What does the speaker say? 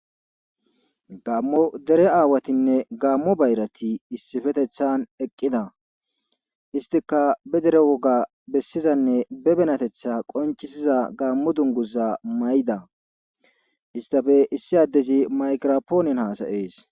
gammo dere aawatinne gaammo bayrati issifetethan eqqida istika be dere woga bessizanne be benatetha qonchisiza gaammo dunguza may7da istafe issi addezi makrapoonen hasayees